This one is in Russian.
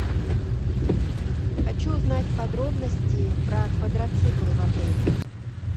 хочу узнать подробности про квадроциклы в отеле